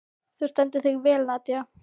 Þú stendur þig vel, Nadia!